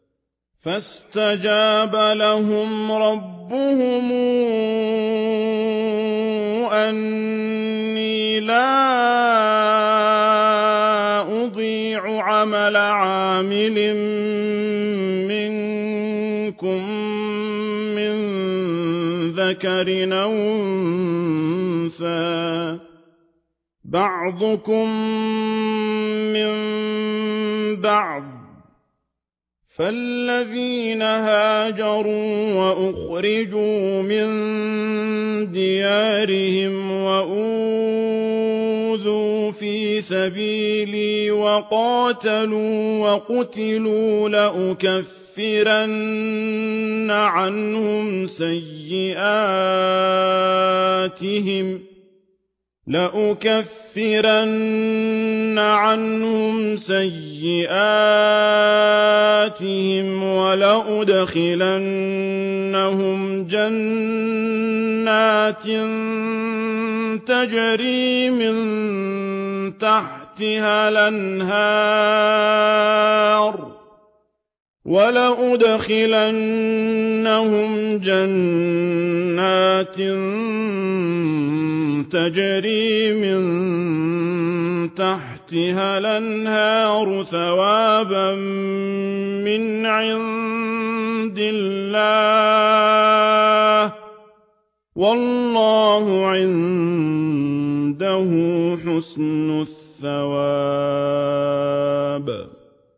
فَاسْتَجَابَ لَهُمْ رَبُّهُمْ أَنِّي لَا أُضِيعُ عَمَلَ عَامِلٍ مِّنكُم مِّن ذَكَرٍ أَوْ أُنثَىٰ ۖ بَعْضُكُم مِّن بَعْضٍ ۖ فَالَّذِينَ هَاجَرُوا وَأُخْرِجُوا مِن دِيَارِهِمْ وَأُوذُوا فِي سَبِيلِي وَقَاتَلُوا وَقُتِلُوا لَأُكَفِّرَنَّ عَنْهُمْ سَيِّئَاتِهِمْ وَلَأُدْخِلَنَّهُمْ جَنَّاتٍ تَجْرِي مِن تَحْتِهَا الْأَنْهَارُ ثَوَابًا مِّنْ عِندِ اللَّهِ ۗ وَاللَّهُ عِندَهُ حُسْنُ الثَّوَابِ